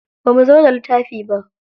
Bamu zo da littafi ba.